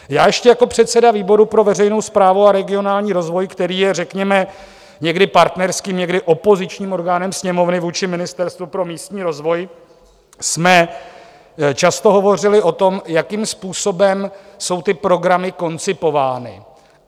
Já ještě jako předseda výboru pro veřejnou správu a regionální rozvoj, který je, řekněme, někdy partnerským, někdy opozičním orgánem Sněmovny vůči Ministerstvu pro místní rozvoj, jsme často hovořili o tom, jakým způsobem jsou ty programy koncipovány.